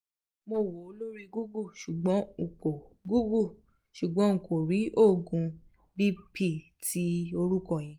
mo wo lori google ṣugbọn nko google ṣugbọn nko rii oogun bp kan ti orukọ yẹn